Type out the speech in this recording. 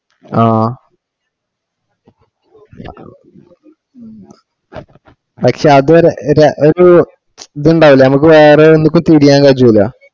ആഹ് പക്ഷെ അതുവരെ നമ്മക് ഒരു ഇതുണ്ടാവുലേ നമ്മക് വേറേ ന്തേം ചിരിയങ്കേ അജിപോളിയ